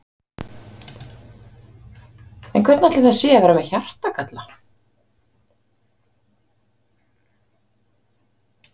En hvernig ætli það sé að vera með hjartagalla?